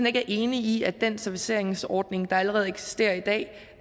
ikke er enige i at den serviceringsordning der allerede eksisterer i dag